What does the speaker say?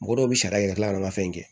Mɔgɔ dɔw bɛ sariya yɛrɛ tila ka na fɛn kɛ